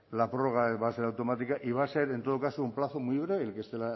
la prórroga va a ser automática y va a ser en todo caso un plazo muy breve el que este el